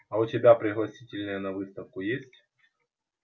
а у тебя пригласительные на выставку есть